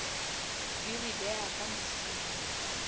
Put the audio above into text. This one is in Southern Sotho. di re beha ka mosing